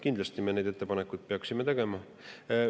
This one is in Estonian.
Kindlasti me neid ettepanekuid peaksime tegema.